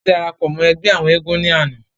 wọ́n darapọ̀ mọ́ ẹgbẹ́ àwọn eégún ní àná